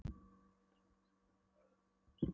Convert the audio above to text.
Við samdrátt þessara vöðvafruma stækkar sjáaldrið.